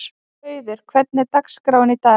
Hauður, hvernig er dagskráin í dag?